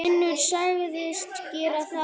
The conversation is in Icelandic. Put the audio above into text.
Finnur sagðist gera það.